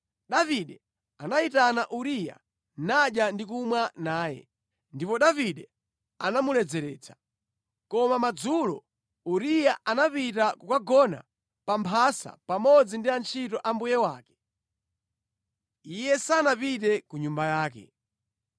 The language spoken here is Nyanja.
Davide anayitana Uriya nadya ndi kumwa naye, ndipo Davide anamuledzeretsa. Koma madzulo Uriya anapita kukagona pa mphasa pamodzi ndi antchito a mbuye wake. Iye sanapite ku nyumba yake.